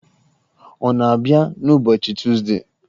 Ọ na-abịa n'ụbọchị Tuzdee.